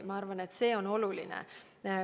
Ma arvan, et see on oluline.